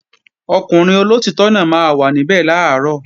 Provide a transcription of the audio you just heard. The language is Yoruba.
Ọkùnrin olóòtítọ́ náà máa wà níbẹ̀ làárọ̀